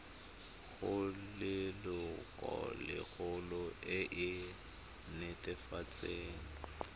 go lelokolegolo e e netefatsang